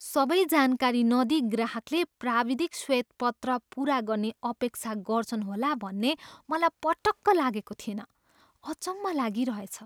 सबै जानकारी नदिई ग्राहकले प्राविधिक श्वेतपत्र पुरा गर्ने अपेक्षा गर्छन् होला भन्ने मलाई पटक्क लागेको थिएन। अचम्म लागिरहेछ।